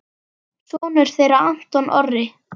Sonur þeirra Anton Orri.